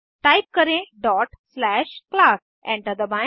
type करें class dot slash class enter दबाएं